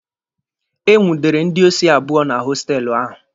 E nwudere ndị osi abụọ na hostelụ ahụ.